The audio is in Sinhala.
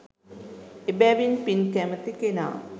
එබැවින් පින් කැමති කෙනා